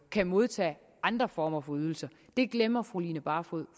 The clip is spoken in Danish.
kan modtage andre former for ydelser glemmer fru line barfod